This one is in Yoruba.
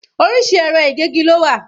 Orísìírísìí ẹ̀rọ ìgégi lo wà